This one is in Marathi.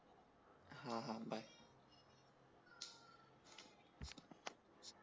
हां हां बाय